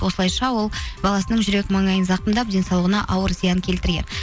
осылайша ол баласының жүрек маңайын зақымдап денсаулығына ауыр зиян келтірген